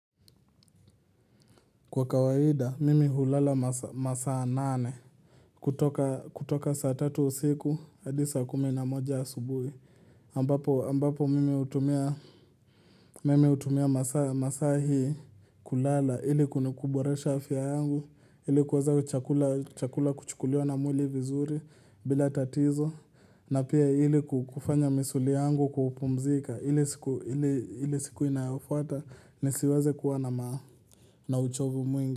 Kwa kawaida, mimi hulala masaa nane, kutoka saa tatu usiku, hadi saa kumi na moja asubuhi. Ambapo mimi hutumia masaa hii kulala, ili kunikuboresha afya yangu, ili kuweza chakula kuchukuliwa na mwili vizuri bila tatizo, na pia ili kufanya misuli yangu kupumzika, ili siku inayofuata nisiweze kuwa na na uchovu mwingi.